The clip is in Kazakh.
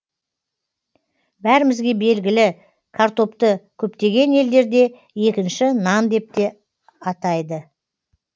бәрімізге белгілі картопты көптеген елдерде екінші нан деп те атайды